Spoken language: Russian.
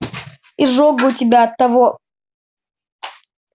изжога у тебя от того